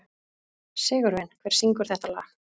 Sigurvin, hver syngur þetta lag?